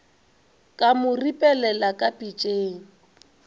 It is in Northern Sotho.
ka mo ripelela ka pitšeng